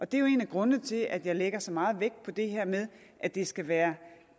det er jo en af grundene til at jeg lægger så meget vægt på det her med at det skal være